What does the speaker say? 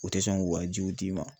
U tɛ sɔn k'u ka jiw d'i ma.